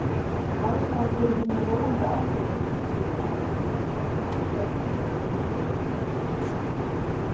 Ástæðan fyrir hinum róandi áhrifum er sú að etanól heldur aftur af taugaboðum í miðtaugakerfinu.